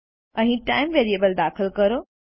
અહીં ટાઇમ દાખલ કરો